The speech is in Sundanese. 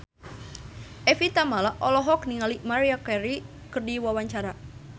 Evie Tamala olohok ningali Maria Carey keur diwawancara